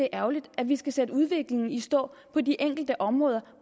ærgerligt at vi skal sætte udviklingen i stå på de enkelte områder